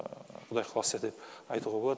құдай қаласа деп айтуға болады